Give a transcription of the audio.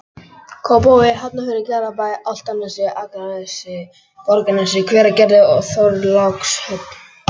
Kópavogi, Hafnarfirði, Garðabæ, Álftanesi, Akranesi, Borgarnesi, Hveragerði og Þorlákshöfn.